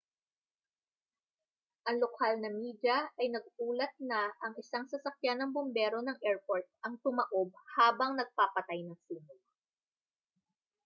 ang lokal na media ay nag-ulat na ang isang sasakyan ng bombero ng airport ang tumaob habang nagpapatay ng sunog